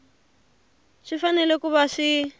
swi fanele ku va swi